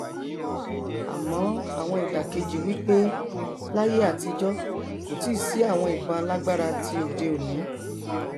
àmọ àwọn ìdàkejì wí pé láyé àtijọ kò tíì sí àwọn ìbọn alágbára ti òde òni